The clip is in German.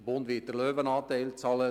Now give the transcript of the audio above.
Der Bund wird den Löwenanteil bezahlen;